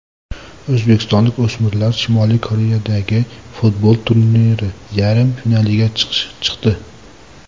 O‘zbekistonlik o‘smirlar Shimoliy Koreyadagi futbol turniri yarim finaliga chiqdi.